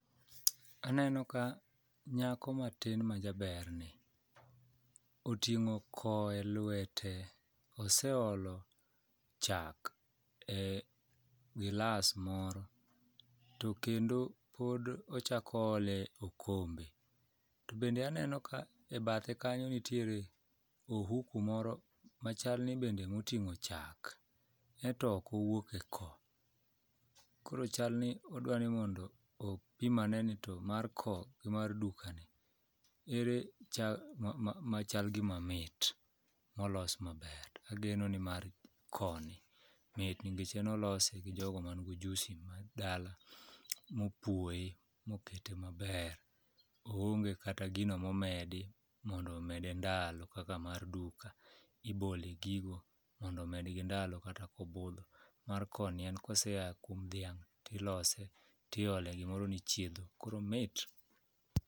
Aneno ka nyako matin majaberni oting'o ko e lwete, oseolo chak e gilas moro to kendo pod ochako oole okombe to bende aneno ka e bathe kanyo nitiere ohuku moro machal ni bende moting'o chak, ento ok owuok e ko, koro chalni odwa ni mondo opim ane ni mar ko gi mar dukani ere machal gima mit molos maber to ageno ni mar koni mit nikech en olose gi jogo mango ojusi ma dala mopuoye mokete maber, oonge kata gino momedi mondo omede ndalo kaka mar duka ibole gigo mondo omedgi ndalo kata kobudho mar koni en kosea kuom dhiuang' tilose tiole gimoro ni chiedho koro omit.